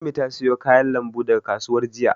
Ummi ta siyo kayan lambu daga kasuwar jiya.